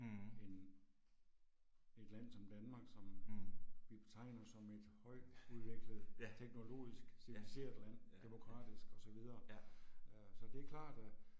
End et land som Danmark som vi betegner som et højt udviklet teknologisk civiliseret land, demokratisk og så videre, øh så det er klart at